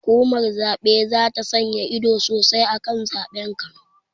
Hukumar zaɓe zata sanya ido sosai akan zaɓen kano